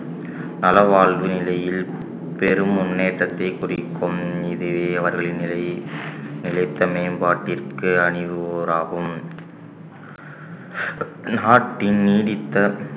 நலவாழ்வு நிலையில் பெரும் முன்னேற்றத்தைக் குறிக்கும் இது அவர்களின் நிலை நிலைத்த மேம்பாட்டிற்கு அணிவூராகும் நாட்டின் நீடித்த